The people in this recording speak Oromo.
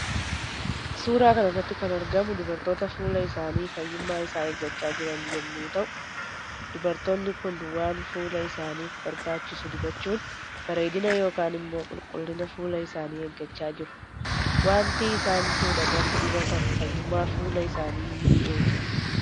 Suuraa kanarratti kan argamu dubartoota fuula isaani fayyuma isaa eeggachaa jiran yommuu ta'u. Dubartoonni Kun waan fuula isaanif barbaachisu dibachuun bareedina yookiin immoo qulqullina fuula isaanii eeggachaa jiru waanti isaan fuulatti dibatan fayyuma fuula isaani ni eega.